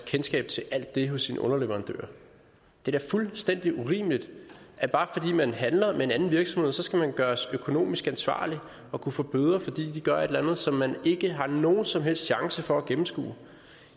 kendskab til alt det hos sine underleverandører det er da fuldstændig urimeligt at bare fordi man handler med en virksomhed skal man gøres økonomisk ansvarlig og kunne få bøder fordi de gør et eller andet som man ikke har nogen som helst chance for at gennemskue